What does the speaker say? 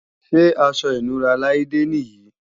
Ṣé aṣọ ìnura Laide nì yí?